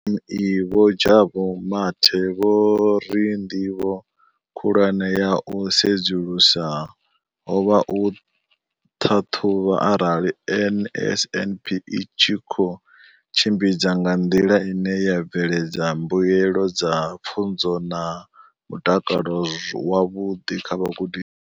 Kha DPME, Vho Jabu Mathe, vho ri ndivho khulwane ya u sedzulusa ho vha u ṱhaṱhuvha arali NSNP i tshi khou tshimbidzwa nga nḓila ine ya bveledza mbuelo dza pfunzo na mutakalo wavhuḓi kha vhagudi.